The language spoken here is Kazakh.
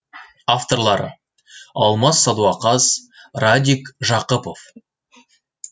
авторлары алмас садуақас радик жақыпов